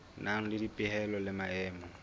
nang le dipehelo le maemo